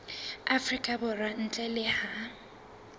afrika borwa ntle le ha